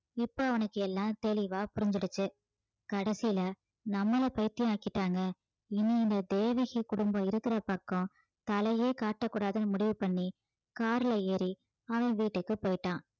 இப்போ அவனுக்கு எல்லாம் தெளிவா புரிஞ்சிடுச்சு கடைசியில நம்மள பைத்தியம் ஆக்கிட்டாங்க இனி இந்த தேவகி குடும்பம் இருக்கிற பக்கம் தலையே காட்டக்கூடாதுன்னு முடிவு பண்ணி car ல ஏறி அவன் வீட்டுக்கு போயிட்டான்